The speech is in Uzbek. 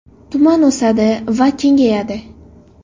Tuman o‘sadi va kengayadi.